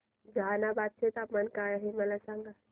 जहानाबाद चे तापमान काय आहे मला सांगा